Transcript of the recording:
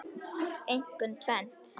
Einkum tvennt.